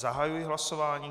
Zahajuji hlasování.